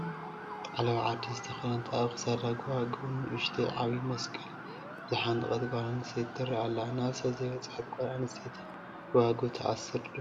ዓለባ ዓዲ ዝተኸደነት፣ ኣብ ክሳዳ ጐባጉብ፣ ንኡስተይን ዓብዪን መስቀል ዝዓነቐት ጓል ኣነስተይቲ ትርአ ኣላ፡፡ ናብ ሰብ ዘይበፅሓት ጓል ኣነስተይቲ ጎባጉብ ትአስር ዶ?